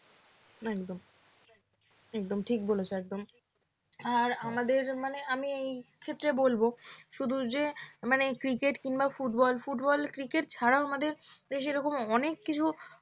একদম একদম ঠিক বলেছ একদম আর আমাদের মানে আমি এক্ষেত্রে বলব, শুধু যে মানে ক্রিকেট কিংবা ফুটবল ফুটবল ক্রিকেট ছাড়া আমাদের সেরকম অনেক কিছু